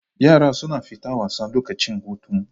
Yara suna fita wasa lokacin hutun